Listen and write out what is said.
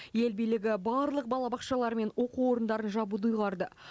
ел билігі барлық балабақшалар мен оқу орындарын жабуды ұйғарды